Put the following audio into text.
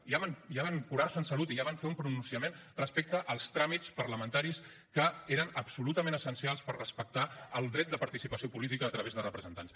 ja van curar se en salut i ja van fer un pronunciament respecte als tràmits parlamentaris que eren absolutament essencials per respectar el dret de participació política a través de representants